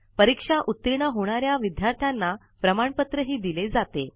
परीक्षेत उत्तीर्ण होणाऱ्या विद्यार्थाना प्रमाणपत्र ही दिले जाते